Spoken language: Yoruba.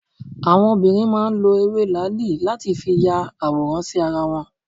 Àwọn obìnrin máa ń lọ ewé làáàlì láti fi ya àwòrán sí ara wọn.